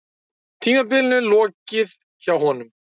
Tímabilinu lokið hjá honum